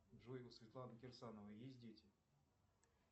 джой у светланы кирсановой есть дети